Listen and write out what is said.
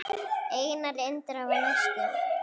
Einar Indra var næstur.